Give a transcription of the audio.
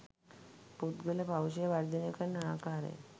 පුද්ගල පෞරුෂය වර්ධනය කරන ආකාරය